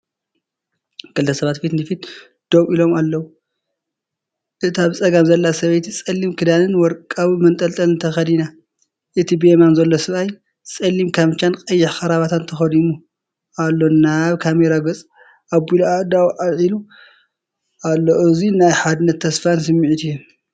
ክልተ ሰባት ፊት ንፊት ደው ኢሎም ኣለዉ። እታ ብጸጋም ዘላ ሰበይቲ፡ጸሊም ክዳንን ወርቃዊ መንጠልጠልን ተኸዲና። እቲ ብየማን ዘሎ ሰብኣይ ጸሊም ካምቻን ቀይሕ ክራቫታን ተኸዲኑ ኣሎ። ናብ ካሜራ ገጹ ገ ኣቢሉ ኣእዳዉ ኣልዒሉ ኣሎ። እዚ ናይ ሓድነትን ተስፋን ስምዒት ይህብ።